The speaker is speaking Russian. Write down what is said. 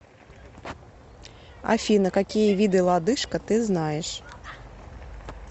афина какие виды лодыжка ты знаешь